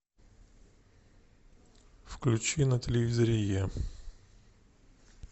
включи на телевизоре е